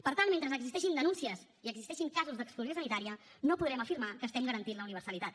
per tant mentre existeixin denúncies i existeixin casos d’exclusió sanitària no podrem afirmar que estem garantint la universalitat